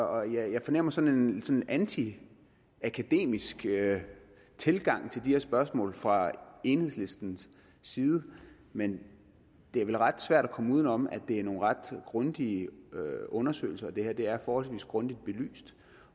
jeg fornemmer sådan en anti akademisk tilgang til de her spørgsmål fra enhedslistens side men det er vel ret svært at komme uden om at det er nogle ret grundige undersøgelser der er det er forholdsvis grundigt belyst